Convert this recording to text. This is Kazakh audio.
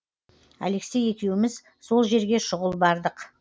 алексей екеуміз сол жерге шұғыл бардық